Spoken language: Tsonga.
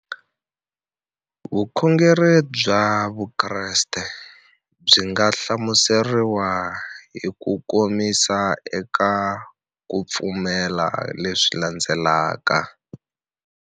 Vukhongeri bya Vukreste byi nga hlamuseriwa hi kukomisa eka ku pfumela leswi landzelaka.